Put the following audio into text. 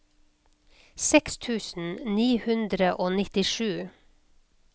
seks tusen ni hundre og nittisju